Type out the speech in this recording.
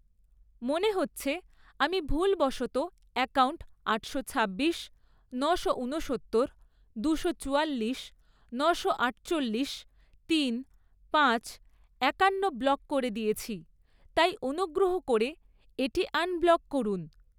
মনে হচ্ছে আমি ভুলবশত অ্যাকাউন্ট আটশো ছাব্বিশ, নশো ঊনসত্তর, দুশো চুয়াল্লিশ, নশো আটচল্লিশ, তিন, পাঁচ, একান্ন ব্লক করে দিয়েছি, তাই অনুগ্রহ করে এটি আনব্লক করুন।